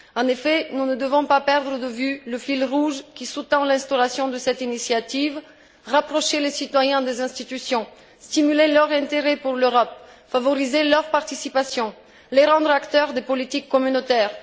En effet, nous ne devons pas perdre de vue le fil rouge qui sous tend l'instauration de cette initiative rapprocher les citoyens des institutions, stimuler leur intérêt pour l'Europe, favoriser leur participation, les rendre acteurs des politiques communautaires.